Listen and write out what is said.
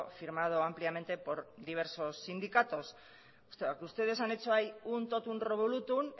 firmado ampliamente por diversos sindicatos ustedes han hecho ahí un totum revolutum